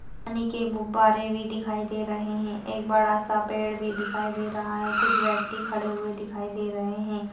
पानी के बुबारे भी दिखाई दे रहे है एक बड़ा सा पेड़ भी दिखाई दे रहा है कुछ व्यक्ति खड़े हुये दिखाई दे रहे है।